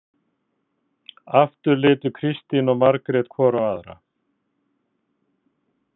Aftur litu Kristín og Margrét hvor á aðra.